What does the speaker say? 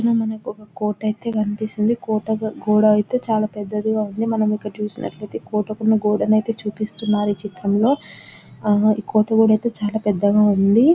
ఇక్కడ మనకొక కోట ఐతే కనిపిస్తుంది కోట గ-గోడైతే చాలా పెద్దదిగా ఉంది మనమిక్కడ చూసినట్లయితే కోటకున్న గోడనైతే చూపిస్తున్నారు ఈ చిత్రంలో ఈ కోట గోడైతే చాలా పెద్దగా ఉంది .